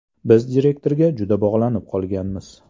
Biz direktorga juda bog‘lanib qolganmiz.